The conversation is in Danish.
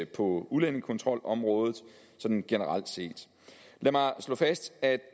på udlændingekontrolområdet sådan generelt set lad mig slå fast at